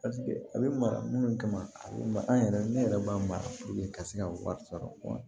a bɛ mara minnu kama a bɛ ma an yɛrɛ ne yɛrɛ b'a mara ka se ka wari sɔrɔ